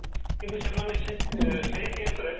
କିନ୍ତୁ ସେମାନେ ସେ ସେଇ caseରେ